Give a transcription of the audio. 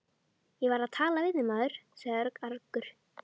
Ég var að tala við þig, maður sagði Örn argur.